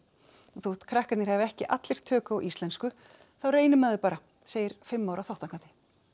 þótt krakkarnir hafi ekki allir tök á íslensku þá reynir maður bara segir fimm ára þátttakandi